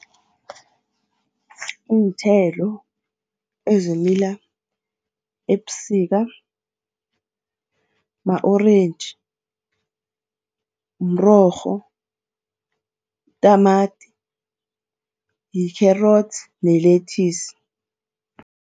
Iinthelo ezimila ebusika ma-orentji, mrorho, tamati, yi-carrots ne-lettuce.